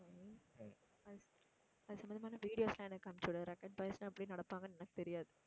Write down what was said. அது சம்பந்தமான videos எல்லாம் எனக்கு அனுப்பிச்சு விடு rugged boys எல்லாம் எப்படி நடப்பாங்கன்னு எனக்குத் தெரியாது